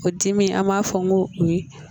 O dimi an b'a fɔ n ko o ye